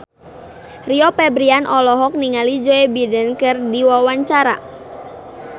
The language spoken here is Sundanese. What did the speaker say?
Rio Febrian olohok ningali Joe Biden keur diwawancara